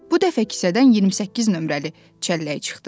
Bu dəfə kisədən 28 nömrəli çəllək çıxdı.